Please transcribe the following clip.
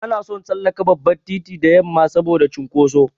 Bana son tsallaka babban titi da yamma saboda cunkoso.